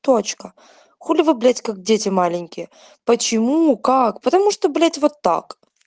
точка хули блять как дети маленькие почему как потому что блять вот так